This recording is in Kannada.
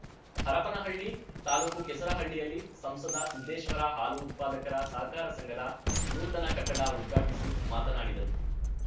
ಹರಪನಹಳ್ಳಿ ತಾಲೂಕು ಕೆಸರಹಳ್ಳಿಯಲ್ಲಿ ಸಂಸದ ಸಿದ್ದೇಶ್ವರ ಹಾಲು ಉತ್ಪಾದಕರ ಸಹಕಾರ ಸಂಘದ ನೂತನ ಕಟ್ಟಡ ಉದ್ಘಾಟಿಸಿ ಮಾತನಾಡಿದರು